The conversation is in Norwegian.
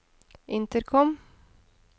intercom